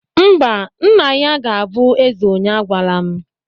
Mba, nna ya ga-abụ eze onye agwala m